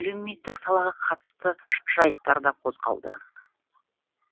әлеуметтік салаға қатысты жайттар да қозғалды